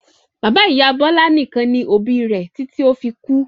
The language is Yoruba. Bàbá-ìyá Bọlá nìkan ni òbí rẹ̀ títí ó fi kú.